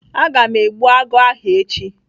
Aga m egbu agụ ahụ echi.